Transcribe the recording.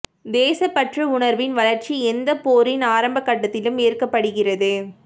தேசப்பற்று உணர்வின் வளர்ச்சி எந்தப் போரின் ஆரம்ப கட்டத்திலும் ஏற்படுகிறது